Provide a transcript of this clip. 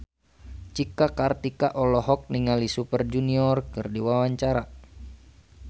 Cika Kartika olohok ningali Super Junior keur diwawancara